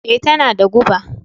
Ee, tana da guba